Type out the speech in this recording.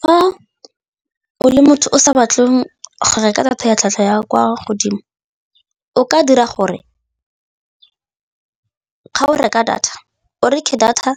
Fa o le motho o sa batle go reka data ya tlhwatlhwa ya kwa godimo o ka dira gore ga o reka data o reke data